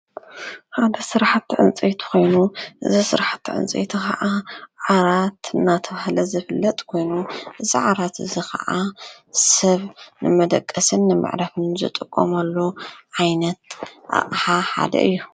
ሓደ ስራሕቲ ዕንፀይት ኾይኑ እዚ ስራሕቲ ዕንፀይቲ ኸዓ ዓራት አናተባህለ ዝፍለጥ ኮይኑ እዚ ዓራት እዚ ኸዓ ሰብ ንመደቀስን መዕረፍን ዝጥቀመሉ ዓይነት ሓደ እዩ